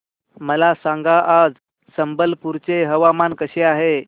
मला सांगा आज संबलपुर चे हवामान कसे आहे